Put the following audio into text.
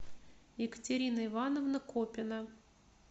екатерина ивановна копина